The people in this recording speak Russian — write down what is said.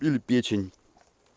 или печень